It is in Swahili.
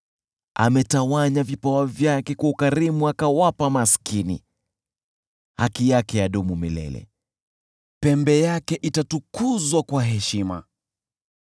Ametawanya vipawa vyake kwa ukarimu akawapa maskini; haki yake hudumu milele; pembe yake itatukuzwa kwa heshima.